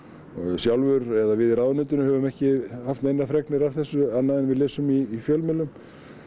sjálfur eða við í ráðuneytinu höfum ekki haft neinar fregnir af þessu annað en við lesum í fjölmiðlum